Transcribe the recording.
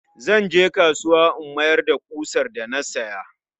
Zan je kasuwa in miyar da ƙusar da na siya.